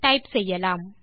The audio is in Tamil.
டைப் செய்யலாம்